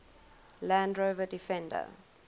land rover defender